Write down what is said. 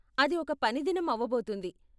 అది ఒక పని దినం అవబోతుంది.